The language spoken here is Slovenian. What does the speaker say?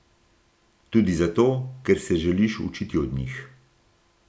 Tudi zato, ker se želiš učiti od njih.